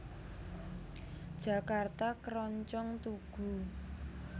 Jakarta Keroncong Tugu